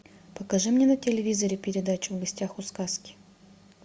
покажи мне на телевизоре передачу в гостях у сказки